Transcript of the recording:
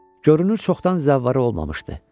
Görünür çoxdan zəvvarı olmamışdı.